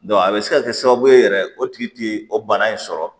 a bɛ se ka kɛ sababu ye yɛrɛ o tigi tɛ o bana in sɔrɔ